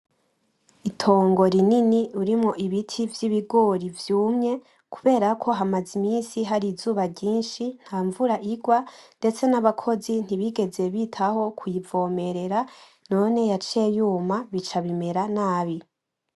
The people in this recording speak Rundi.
Itongo rinini urimwo ibiti vy’ibigori vyumye, kubera ko hamaze iminsi hari izuba ryinshi, ntanvura igwa, ndetse n'abakozi ntibigeze bitaho kuyivomerera, none yaciye yuma bica bimera nabi.